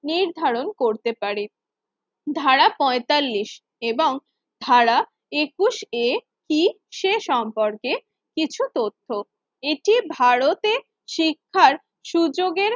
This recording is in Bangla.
নির্ধারণ করতে পারে। ধারা পঁয়তাল্লিশ এবং ধারা একুশ এটি সে সম্পর্কে কিছু তথ্য, এটি ভারতে শিক্ষার সুযোগে